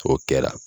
O kɛra